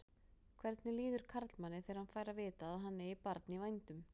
Hvernig líður karlmanni þegar hann fær að vita að hann eigi barn í vændum?